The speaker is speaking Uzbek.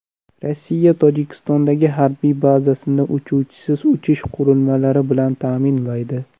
Rossiya Tojikistondagi harbiy bazasini uchuvchisiz uchish qurilmalari bilan ta’minlaydi.